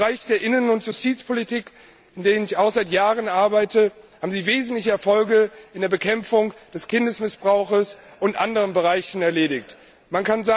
In den Bereichen der Innen und Justizpolitik, in denen ich auch seit Jahren arbeite, haben Sie wesentliche Erfolge bei der Bekämpfung des Kindesmissbrauchs und in anderen Bereichen erzielt.